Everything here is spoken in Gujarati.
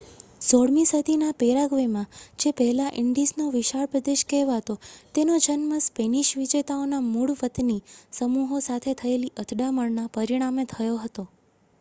"16મી સદીના પેરાગ્વેમાં જે પહેલાં "ઇન્ડીઝનો વિશાળ પ્રદેશ" કહેવાતો તેનો જન્મ સ્પેનિશ વિજેતાઓના મૂળ વતની સમૂહો સાથે થયેલી અથડામણના પરિણામે થયો હતો.